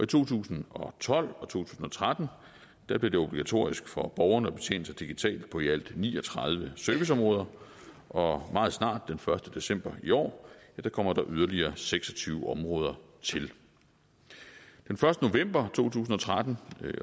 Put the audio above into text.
to tusind og tolv og to tusind og tretten blev det obligatorisk for borgerne at betjene sig digitalt på i alt ni og tredive serviceområder og meget snart den første december i år kommer der yderligere seks og tyve områder til den første november to tusind og tretten